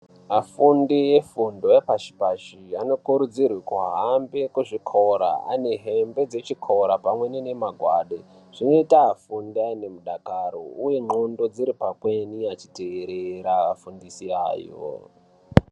Afundi efundo yepashi-pashi, anokurudzirwe kuhambe kuzvikora ,ane hembe dzechikora ,pamweni nemimagwade. Zvinoita afunde nemudakaro, uye ndxondo dziri pamweni achiteerera adzidzisi ayo.